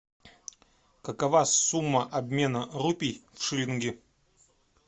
какова сумма обмена рупий в шиллинги